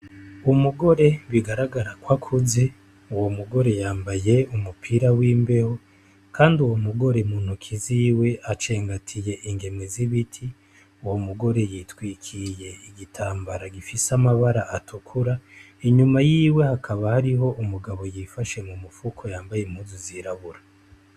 Umugore bigaragara ko akuze uwo mugore yambaye umupira w'imbeho kandi uwo mugore mu ntoke ziwe acengatiye ingemwe z'ibiti uwo mugore yitwikiye igitambara gifise amabara atukura inyuma yiwe hakaba hariho umugabo yifashe mu mifuko yambaye impuzu zirabura.